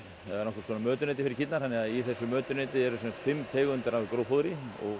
eða nokkurs konar mötuneyti fyrir kýrnar þannig að í þessu mötuneyti eru fimm tegundir af gróffóðri